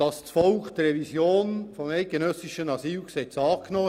Das Volk hat die Revision des eidgenössischen Asylgesetzes angenommen.